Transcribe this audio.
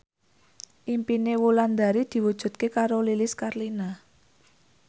impine Wulandari diwujudke karo Lilis Karlina